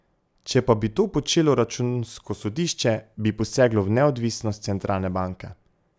Če pa bi to počelo Računsko sodišče, bi poseglo v neodvisnost centralne banke.